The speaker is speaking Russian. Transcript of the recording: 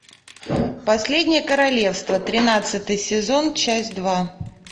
последнее королевство тринадцатый сезон часть два